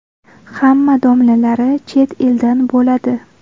Hamma domlalari chet eldan bo‘ladi.